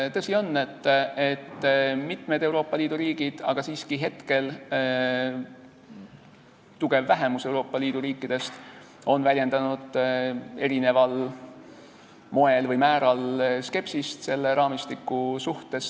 Tõsi on, et mitmed Euroopa Liidu riigid, aga siiski hetkel tugevalt vähemusse jääv osa Euroopa Liidu riikidest, on väljendanud eri moel või määral skepsist selle raamistiku suhtes.